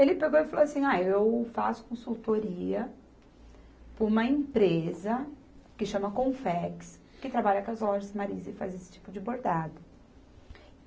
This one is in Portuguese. Ele pegou e falou assim, ah, eu faço consultoria para uma empresa que chama Confex, que trabalha com as lojas Marisa e faz esse tipo de bordado.